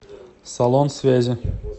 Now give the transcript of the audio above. салон связи